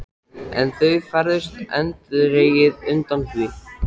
En þau færðust eindregið undan því.